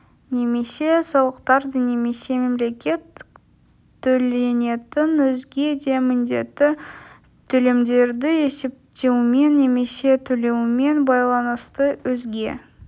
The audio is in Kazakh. немесе салықтарды немесе мемлекеттік төленетін өзге де міндетті төлемдерді есептеумен немесе төлеумен байланысты өзге